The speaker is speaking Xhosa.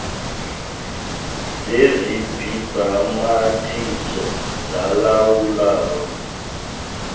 zesi sibhambathiso zilawulwa